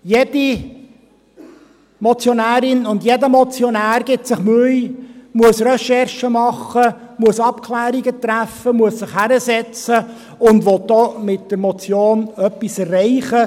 Jede Motionärin und jeder Motionär gibt sich Mühe, muss Recherchen machen, muss Abklärungen treffen, muss sich hinsetzen, und will mit der Motion denn auch etwas erreichen.